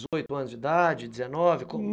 dezoito anos de idade, dezenove?